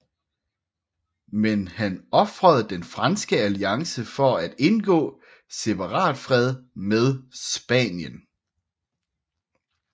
Men han ofrede den franske alliance for at indgå separatfred med Spanien